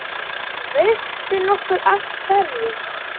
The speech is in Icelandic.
Veistu nokkuð af hverju?